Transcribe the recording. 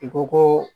I ko koo